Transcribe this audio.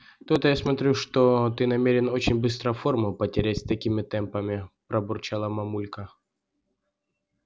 то-то я смотрю что ты намерен очень быстро форму потерять с такими темпами пробурчала мамулька